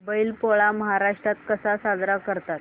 बैल पोळा महाराष्ट्रात कसा साजरा करतात